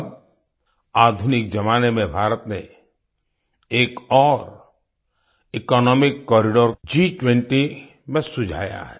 अब आधुनिक ज़माने में भारत ने एक और इकोनॉमिक कॉरिडोर G20 में सुझाया है